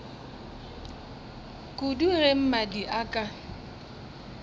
kudu ge mmadi a ka